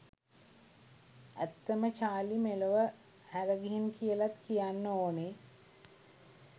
ඇත්තම චාර්ලි මෙලොව හැර ගිහින් කියලත් කියන්න ඕනේ